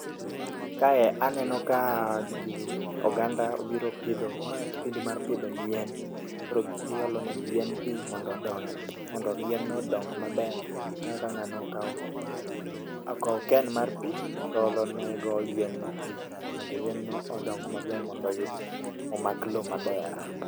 Kae aneno ka ji, oganda obiro pidho ma kipindi mar pidho yien. Koro giolo ne yien pi mondo odong, mondo yie odong maber. Aneno ka ng'ano okawo, okawo can mar pi, to oolo nego yien no pi mondo yien no odong, mondo oyud omak lowo maber.